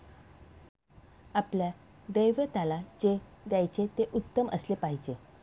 आपल्या दैवताला जे द्यायचे ते उत्तम असले पाहिजे